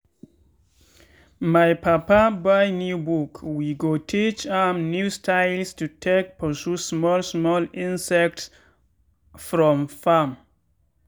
my papa buy new book wey go teach am new styles to take pursue small small insects from farm.